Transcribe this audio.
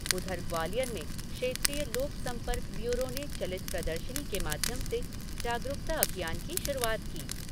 उधर ग्वालियर में क्षेत्रीय लोक संपर्क ब्यूरो ने चलित प्रदर्शनी के माध्यम से जागरूकता अभियान की शुरुआत की।